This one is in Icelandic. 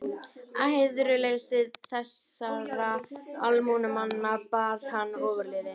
Æðruleysi þessara almúgamanna bar hann ofurliði.